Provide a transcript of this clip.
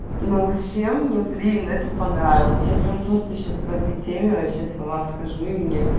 ну вообще мне блин это понравилась я прямо просто сейчас по этой теме вообще с ума схожу и мне